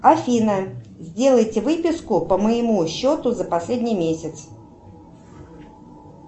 афина сделайте выписку по моему счету за последний месяц